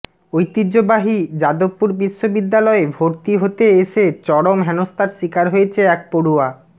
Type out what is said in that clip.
ঐতিহ্যবাহী যাদবপুর বিশ্ববিদ্যালয়ে ভর্তি হতে এসে চরম হেনস্তার শিকার হয়েছে এক পড়ুয়া